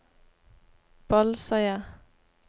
Bolsøya